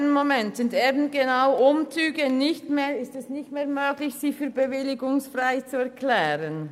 Eben genau für Umzüge ist es nicht mehr möglich, diese für bewilligungsfrei zu erklären.